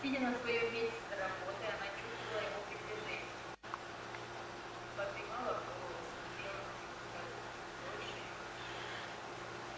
сидя на своём месте за работой она чувствовала его приближение подымала голову смотрела на него с каждым днём дольше и дольше